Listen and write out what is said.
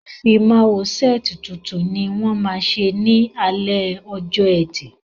Ìfimáwo sẹ́ẹ̀tì tuntun ni wọ́n ma ṣe ní alẹ́ ọjọ́ ẹtì